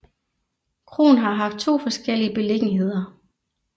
Kroen har haft to forskellige beliggenheder